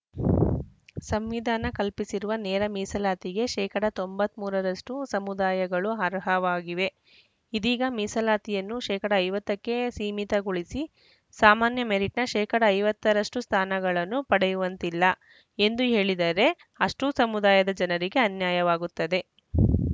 ಫ್ ಸಂವಿಧಾನ ಕಲ್ಪಿಸಿರುವ ನೇರ ಮೀಸಲಾತಿಗೆ ಶೇಕಡಾ ತೊಂಬತ್ತ್ ಮೂರರಷ್ಟು ಸಮುದಾಯಗಳು ಅರ್ಹವಾಗಿವೆ ಇದೀಗ ಮೀಸಲಾತಿಯನ್ನು ಶೇಕಡಾ ಐವತ್ತಕ್ಕೆ ಸೀಮಿತಗೊಳಿಸಿ ಸಾಮಾನ್ಯ ಮೆರಿಟ್‌ನ ಶೇಕಡಾ ಐವತ್ತರಷ್ಟು ಸ್ಥಾನಗಳನ್ನು ಪಡೆಯುವಂತಿಲ್ಲ ಎಂದು ಹೇಳಿದರೆ ಅಷ್ಟೂಸಮುದಾಯದ ಜನರಿಗೆ ಅನ್ಯಾಯವಾಗುತ್ತದೆ